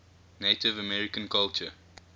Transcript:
native american culture